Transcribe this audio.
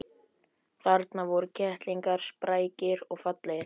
Þarna voru kettlingarnir, sprækir og fallegir.